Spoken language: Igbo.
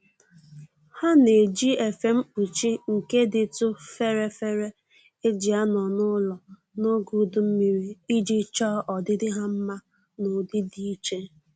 Ha na-eji efe mkpuchi nke dịtụ fere fere e ji anọ n'ụlọ n'oge udu mmiri iji chọọ ọdịdị ha mma n'ụdị dị iche